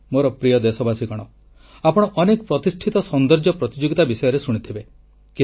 ମୋର ପ୍ରିୟ ଦେଶବାସୀଗଣ ଆପଣ ଅନେକ ପ୍ରତିଷ୍ଠିତ ସୌନ୍ଦର୍ଯ୍ୟ ପ୍ରତିଯୋଗିତା ବିଷୟରେ ଶୁଣିଥିବେ